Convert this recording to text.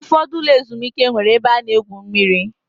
Ụfọdụ ụlọ ezumike nwere ebe a na-egwu mmiri